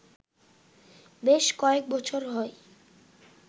বেশ কয়েক বছর হয়